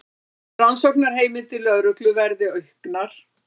Rannsóknarheimildir lögreglu verði auknar